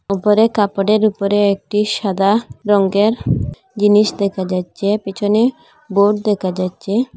উপরে কাপড়ের উপরে একটি সাদা রঙ্গের জিনিস দেখা যাচ্ছে পিছনে বোর্ড দেখা যাচ্ছে।